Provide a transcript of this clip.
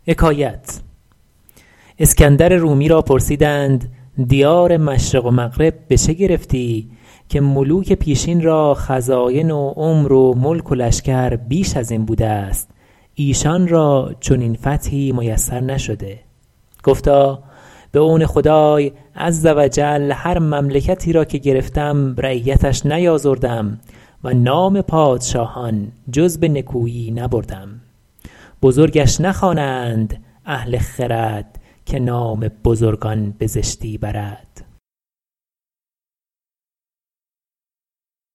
اسکندر رومی را پرسیدند دیار مشرق و مغرب به چه گرفتی که ملوک پیشین را خزاین و عمر و ملک و لشکر بیش از این بوده است ایشان را چنین فتحی میسر نشده گفتا به عون خدای عزوجل هر مملکتی را که گرفتم رعیتش نیآزردم و نام پادشاهان جز به نکویی نبردم بزرگش نخوانند اهل خرد که نام بزرگان به زشتی برد